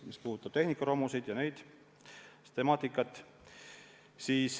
See puudutab näiteks tehnikaromusid ja muud sellist temaatikat.